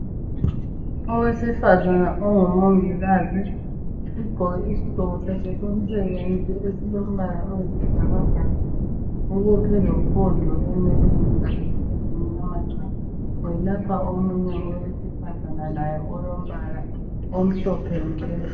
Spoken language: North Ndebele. Owesifazana ongumongikazi ugqoke isigqoko sakhe somsebenzi esilompala oyisibhakabhaka ubophe lopondo enweleni zakhe ezimnyama tshu. Ulapha omuye owesifazana laye olompala omhlophe nke.